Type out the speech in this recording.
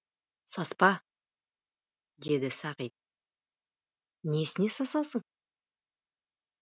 саспа деді сағит несіне сасасың